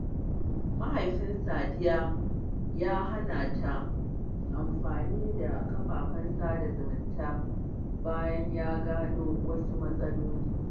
Mahaifin Safiya ya hana ta amfani da kafafen sada zumunta bayan ya gano wasu matsaloli.